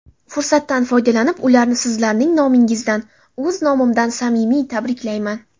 Fursatdan foydalanib, ularni sizlarning nomingizdan, o‘z nomimdan samimiy tabriklayman.